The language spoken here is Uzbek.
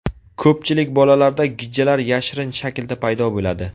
Ko‘pchilik bolalarda gijjalar yashirin shaklda paydo bo‘ladi.